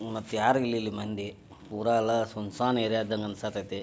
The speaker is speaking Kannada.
ಮತ್ ಯಾರ್ ಇಲ್ ಇಲ್ ಮಂದಿ ಪುರ ಎಲ್ಲ ಸುಂಸಾನ್ ಏರಿಯಾದ ಅನ್ಸಾಕತೈತಿ.